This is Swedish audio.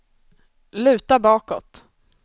luta bakåt